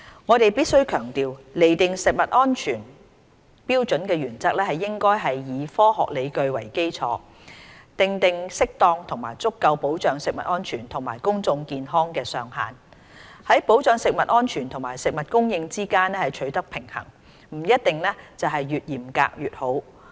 我們必須強調，釐定食物安全標準的原則，應該以科學理據為基礎，訂定適當及足夠保障食物安全及公眾健康的上限，在保障食物安全和食物供應之間取得平衡，不一定是越嚴格越好。